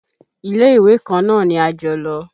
Ilé-ìwé kan náà ni a jọ lọ.